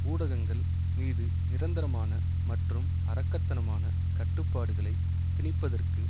ஊடகங்கள் மீது நிரந்தரமான மற்றும் அரக்கத்தனமான கட்டுப்பாடுகளை திணிப்பதற்கு